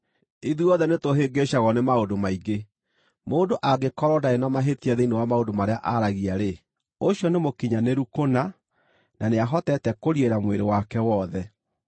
Ithuothe nĩtũhĩngĩcagwo nĩ maũndũ maingĩ. Mũndũ angĩkorwo ndarĩ na mahĩtia thĩinĩ wa maũndũ marĩa aragia-rĩ, ũcio nĩ mũkinyanĩru kũna, na nĩahotete kũriĩra mwĩrĩ wake wothe.